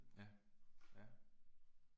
Ja, ja